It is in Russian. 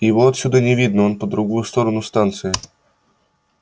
его отсюда не видно он по другую сторону станции